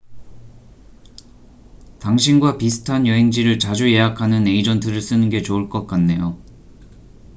당신과 비슷한 여행지를 자주 예약하는 에이전트를 쓰는 게 좋을 것 같네요